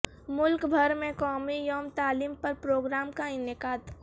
ملک بھر میں قومی یوم تعلیم پر پروگرام کا انعقاد